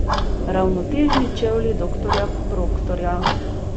Ravnotežni čevlji doktorja Proktorja.